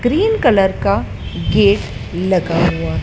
green colour का gate लगा हुआ--